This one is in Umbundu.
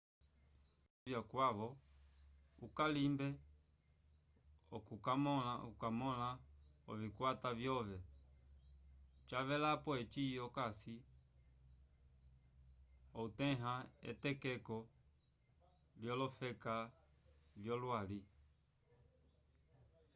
ovyendelo vyakwavo ukalimbe okukamõla ovikwata vyove cavelapo eci okasi outẽha etokeko lyolofeka vyolwali